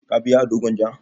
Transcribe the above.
Ka biya ado gwanja?